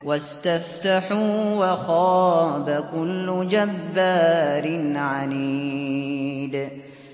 وَاسْتَفْتَحُوا وَخَابَ كُلُّ جَبَّارٍ عَنِيدٍ